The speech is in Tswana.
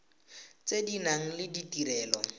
tse di nang le ditirelo